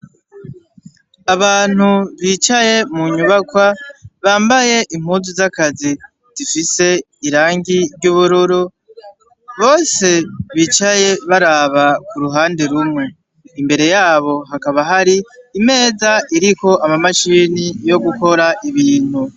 Abantu bicaye mu nyubakwa bambaye impuzu w'akazi zifise irangi ry'ubururu, bose bicaye baraba ku ruhande rumwe. Imbere yabo hakaba hari imeza iriko ama mashini yo gukora ibintu.